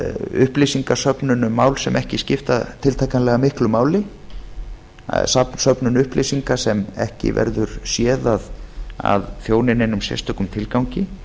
upplýsingasöfnun um mál sem ekki skipta tiltakanlega miklu máli söfnun upplýsinga sem ekki verður séð að þjóni neinum sérstökum tilgangi